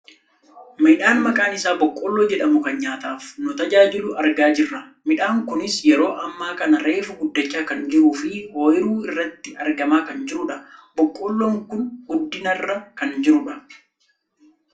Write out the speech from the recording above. Midhaan maqaan isaa boqqolloo jedhamu kan nyaataaf nu tajaajilu argaa jirra. Midhaan kunis yeroo ammaa kana reefu guddachaa kan jiruufi ooyiruu irratti argamaa kan jirudha. boqqolloon kun guddinarra kan jirudha.